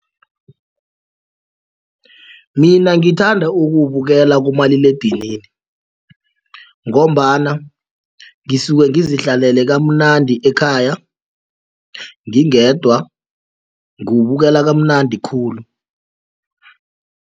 Mina ngithanda ukuwubukela kumaliledinini ngombana ngisuke ngizihlalele kamnandi ekhaya ngingedwa ngiwubukela kamnandi khulu.